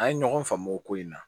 An ye ɲɔgɔn faamu o ko in na